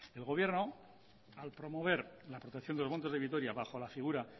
el gobierno al promover la protección de los montes de vitoria bajo la figura